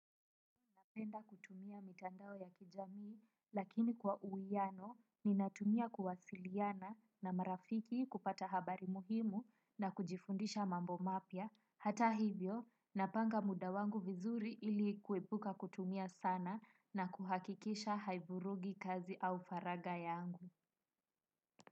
Napenda kutumia mitandao ya kijamii lakini kwa uwiano ninatumia kuwasiliana na marafiki kupata habari muhimu na kujifundisha mambo mapya hata hivyo napanga muda wangu vizuri ili kuepuka kutumia sana na kuhakikisha hai vurugi kazi au faraga yangu.